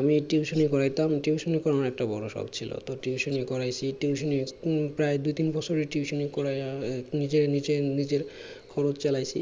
আমি tuition ই পড়াইতাম tuition ই করানো একটা বড়ো শখ ছিল তো tuition ই করাইছি tuition প্রায় দু তিন বছর tuition করাইয়া নিজে নিজের নিজের খরচ চালাইছি